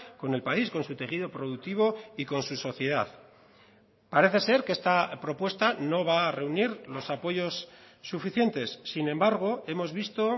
con el país con su tejido productivo y con su sociedad parece ser que esta propuesta no va a reunir los apoyos suficientes sin embargo hemos visto